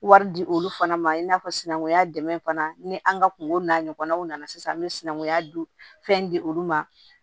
Wari di olu fana ma i n'a fɔ sinankunya dɛmɛn fana ni an ka kungo n'a ɲɔgɔnnaw nana sisan an bɛ sinankunya dun fɛn di olu ma